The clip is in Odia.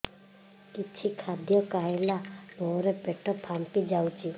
କିଛି ଖାଦ୍ୟ ଖାଇଲା ପରେ ପେଟ ଫାମ୍ପି ଯାଉଛି